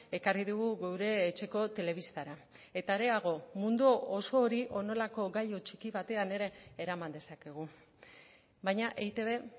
ekarri digu gure etxeko telebistara eta hareago mundu oso hori honelako gailu txiki batean ere eraman dezakegu baina eitb